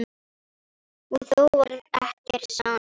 Og þó varð ekkert sannað.